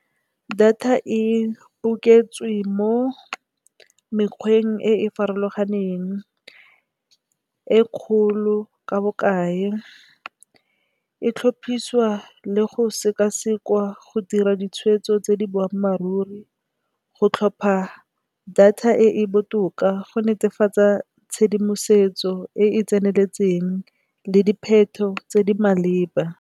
Data e boketswe mo mekgweng e e farologaneng e kgolo ka bokae, e tlhopisiwa le go sekasekwa go dira ditshwetso tse di boammaaruri, go tlhopha data e e botoka go netefatsa tshedimosetso e e tseneletseng le dipheto tse di maleba.